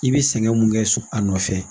I bɛ sɛgɛn mun kɛ so a nɔfɛ